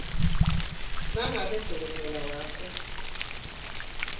nangabe dokotela wakho